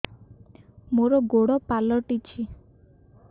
ମୋର ଗୋଡ଼ ପାଲଟିଛି